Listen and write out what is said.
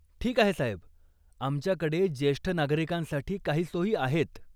ठीक आहे साहेब. आमच्याकडे जेष्ठ नागरिकांसाठी काही सोयी आहेत.